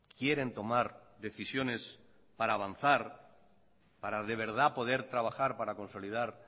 quieren tomar decisiones para avanzar para de verdad poder trabajar para consolidar